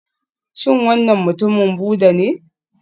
Shin wannan mutumin Buddha ne?